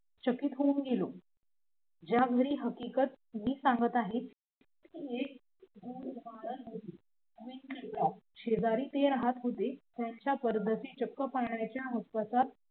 चकित होऊन गेले ज्या मुळे हकीकत तुम्ही पाहत आहे शेजारी ते राहत होते त्यांच्या परसदाराच चक्क पाहणाऱ्यांचे